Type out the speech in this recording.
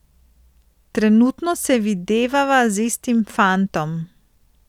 Trenutno se videvava z istim fantom.